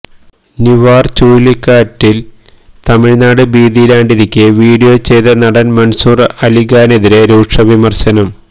നിവാര് ചുഴലിക്കാറ്റില് തമിഴ്നാട് ഭീതിയിലാണ്ടിരിക്കെ വീഡിയോ ചെയ്ത നടൻ മൻസൂർ അലിഖാനെതിരേ രൂക്ഷ വിമർശനം